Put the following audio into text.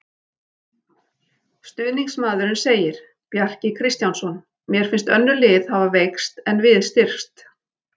Stuðningsmaðurinn segir- Bjarki Kristjánsson Mér finnst önnur lið hafa veikst en við styrkst.